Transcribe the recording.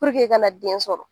i kana den sɔrɔ.